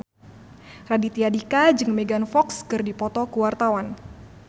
Raditya Dika jeung Megan Fox keur dipoto ku wartawan